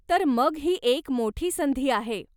तर मग ही एक मोठी संधी आहे.